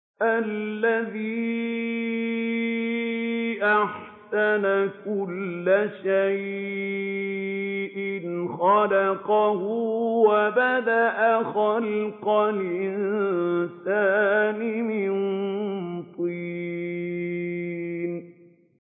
الَّذِي أَحْسَنَ كُلَّ شَيْءٍ خَلَقَهُ ۖ وَبَدَأَ خَلْقَ الْإِنسَانِ مِن طِينٍ